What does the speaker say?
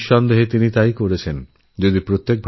নিঃসন্দেহেএকথা সর্বৈব সত্য